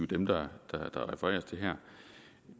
dem der refereres til her